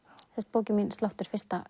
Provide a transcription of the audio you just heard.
bókin mín sláttur fyrsta